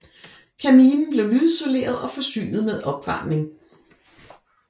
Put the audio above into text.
Kabinen blev lydisoleret og forsynet med opvarmning